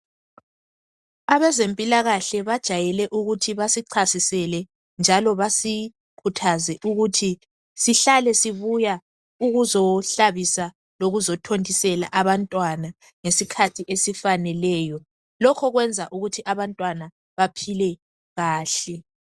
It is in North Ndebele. Abezempilakahle bajayele ukuthi basichasisele njalo basikhuthaze ukuthi sihlale sibuya ukuzohlabisa lokuzothontisela abantwana ngesikhathi esifaneleyo. Lokho kwenza ukuthi abantwana baphile kahle.